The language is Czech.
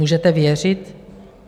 Můžete věřit?